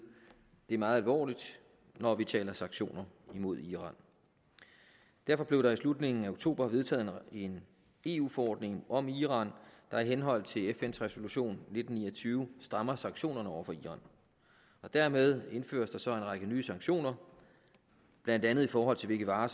det meget alvorligt når vi taler om sanktioner imod iran derfor blev der i slutningen af oktober vedtaget en eu forordning om iran der i henhold til fns resolution nitten ni og tyve strammer sanktionerne over for iran dermed indføres der så en række nye sanktioner blandt andet i forhold til hvilke varer